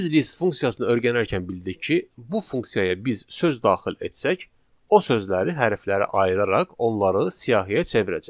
Biz list funksiyasını öyrənərkən bildik ki, bu funksiyaya biz söz daxil etsək, o sözləri hərflərə ayıraraq onları siyahıya çevirəcək.